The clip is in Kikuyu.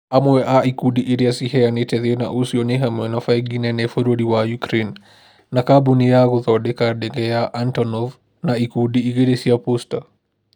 Amwe a ikundi irĩa ciheanĩte thĩna ũcio nĩ hamwe na bengĩ nene bũrũri wa ukraine, na kambuni ya gũthodeka ndege ya Antonov na ikundi igĩrĩ cia Posta